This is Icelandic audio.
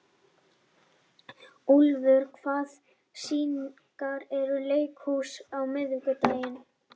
Úlfur, hvaða sýningar eru í leikhúsinu á miðvikudaginn?